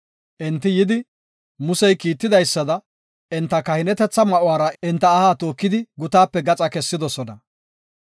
Enti yidi, Musey kiitidaysada enta kahinetetha ma7uwara enta aha tookidi, gutaape gaxa kessidosona.